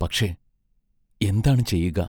പക്ഷേ, എന്താണ് ചെയ്യുക?